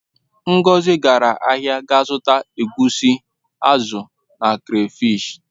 Ngozi gara ahia ga zuta egwusi, azu na crafish.